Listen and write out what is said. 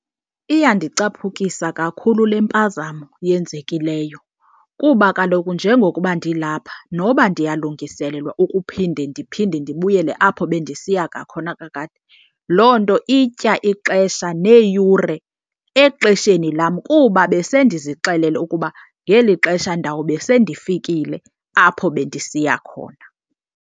Iyandicaphukisa kakhulu le mpazamo yenzekileyo. Kuba kaloku njengokuba ndilapha noba ndiyalungiselelelwa ukuphinde ndiphinde ndibuyele apho bendisiya ngakhona kakade, loo nto itya ixesha neeyure exesheni lam kuba besendizixelele ukuba ngeli xesha ndawube sendifikile apho bendisiya khona.